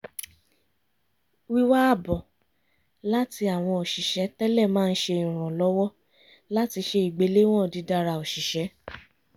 wíwá àbọ̀ láti àwọn òṣìṣẹ́ tẹ́lẹ̀ máa ń ṣe ìrànlọ́wọ́ láti ṣe ìgbéléwọ̀n dídára òṣìṣẹ́